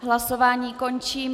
Hlasování končím.